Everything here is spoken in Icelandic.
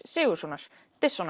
Sigurðssonar